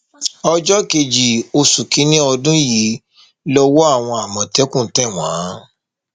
ọjọ kejì oṣù kìnínní ọdún yìí lowó àwọn àmọtẹkùn tẹ wọn